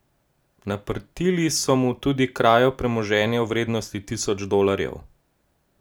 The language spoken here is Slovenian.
Naprtili so mu tudi krajo premoženja v vrednosti tisoč dolarjev.